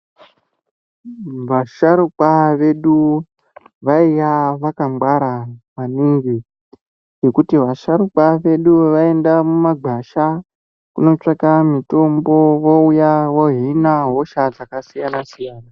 Vasharuka vedu vainga vakangwara maningi ngokuti vasharuka vedu vayiyenda mumagwasha kunotsvaka mitombo vouya vohina hosha dzakasiyana siyana.